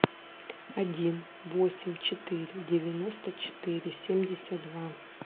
один восемь четыре девяносто четыре семьдесят два